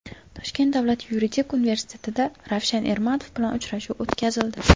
Toshkent davlat yuridik universitetida Ravshan Ermatov bilan uchrashuv o‘tkazildi.